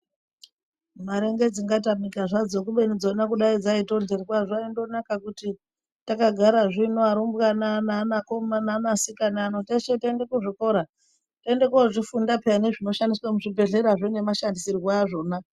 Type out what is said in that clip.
Mare ngedzingatamika zvadzo kubeni dzona kudai dzaitoryirwa zvaindonaka kuti tagara zvino arumbwana neana komana neana sikana anonyeshe tiende kuzvikora tiende kuzvifunda peya nezvinoshandiswe muzvibhedhlerazvo nemashandisorwo azvona.